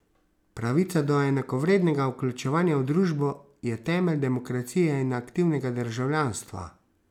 Pravica do enakovrednega vključevanja v družbo je temelj demokracije in aktivnega državljanstva.